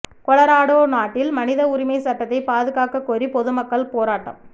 Colorado நாட்டில் மனித உரிமை சட்டத்தை பாதுகாக்க கோரி பொதுமக்கள் போராட்டம்